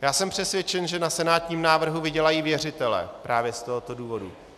Já jsem přesvědčen, že na senátním návrhu vydělají věřitelé právě z tohoto důvodu.